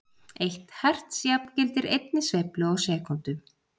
Eitt herts jafngildir einni sveiflu á sekúndu.